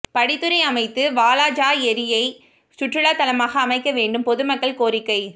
படித்துறை அமைத்து வாலாஜா ஏரியை சுற்றுலா தலமாக அமைக்க வேண்டும் பொதுமக்கள் கோரிக்கை